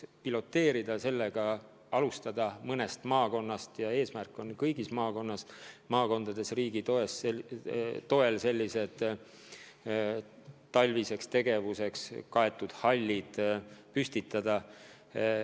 Kavatseme piloteerides alustada mõnest maakonnast, eesmärk on aga kõigis maakondades riigi toel talviseks tegevuseks hallid püstitada.